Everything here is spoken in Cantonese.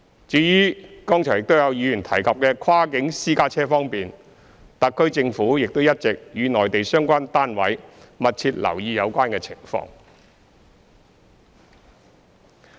至於剛才亦有議員提及的跨境私家車方面，特區政府亦一直與內地相關單位密切留意有關情況。